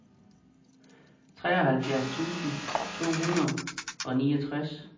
treoghalvfjerds tusind to hundrede og niogtres